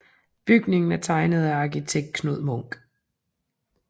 Bygningen er tegnet af arkitekt Knud Munk